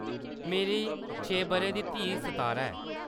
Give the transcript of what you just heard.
मेरी छें बʼरें दी धीऽ सतारा ऐ।